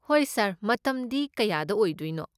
ꯍꯣꯏ, ꯁꯥꯔ, ꯃꯇꯝꯗꯤ ꯀꯌꯥꯗ ꯑꯣꯏꯗꯣꯏꯅꯣ?